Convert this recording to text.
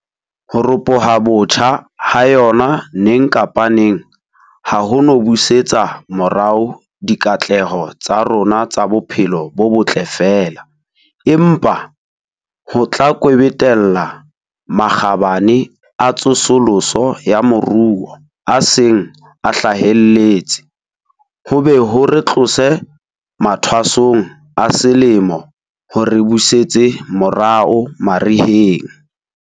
Ho ropoha botjha ha yona neng kapa neng ha ho no busetsa morao dikatleho tsa rona tsa bophelo bo botle feela, empa ho tla kwebetella makgabane a tsosoloso ya moruo a seng a hlahelletse, ho be ho re tlose mathwasong a selemo ho re busetse morao mariheng.